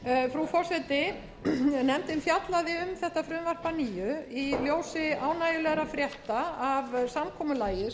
frú forseti nefndin fjallaði um þetta frumvarp að nýju í ljósi ánægjulegra frétta af samkomulagi